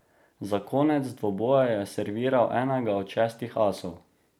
Za konec dvoboja je serviral enega od šestih asov.